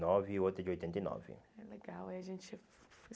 nove e outra de oitenta e nove. Legal, aí a gente